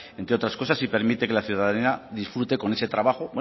entre otras cosas y permite que la ciudadanía disfrute con ese trabajo